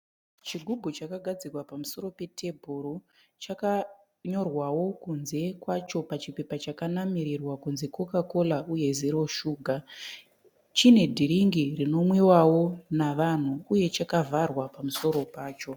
Chigubhu chakagadzikwa pamusoro petafura chakanyorwawo kunze kwacho pechipepa chakanamirirwa kunzi coca cola uye zero suga. Chine dhiriki rinonwiwawo navanhu uye chakavharwa pamusoro pacho.